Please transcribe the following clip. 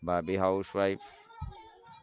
ભાભી હાઉસવાઈફ.